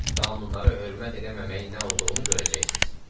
Qanunlara hörmət eləməməyin nə olduğunu görəcəksiz.